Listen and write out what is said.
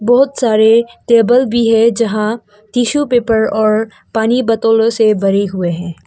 बहुत सारे टेबल भी है जहां टिशू पेपर और पानी बोतलों से भरे हुए हैं।